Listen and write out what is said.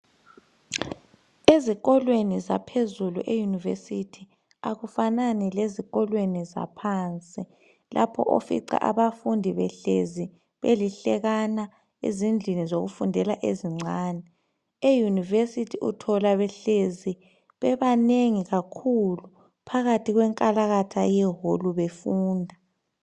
Ezikolweni zaphezulu eyunivesithi, akufanani lezikolweni zaphansi lapho ofica abafundi behlezi belihlekana ezindlini zokufundela ezincane. Eyunivesithi uthola behlezi benanengi kakhulu phakathi kwenkalakatha yeHall befunda.